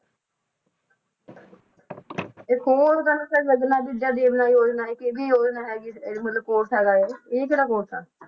ਇੱਕ ਹੋਰ ਗੱਲ ਕਿ ਜਗਨਾ ਵਿਦਿਆ ਦਿਵੇਨਾ ਯੋਜਨਾ ਇੱਕ ਇਹ ਵੀ ਯੋਜਨਾ ਹੈਗੀ ਆ ਮਤਲਬ course ਹੈਗਾ ਇਹ, ਇਹ ਕਿਹੜਾ course ਆ?